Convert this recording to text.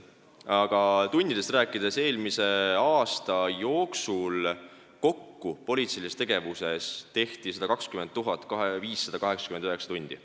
Aga tundidest rääkides: eelmise aasta jooksul kulus politseilisele tegevusele kokku 120 589 tundi.